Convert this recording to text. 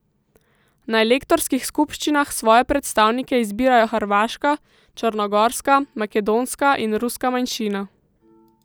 Na elektorskih skupščinah svoje predstavnike izbirajo hrvaška, črnogorska, makedonska in ruska manjšina.